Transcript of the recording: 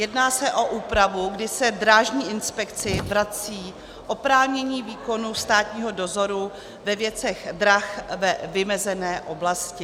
Jedná se o úpravu, kdy se Drážní inspekci vrací oprávnění výkonu státního dozoru ve věcech drah ve vymezené oblasti.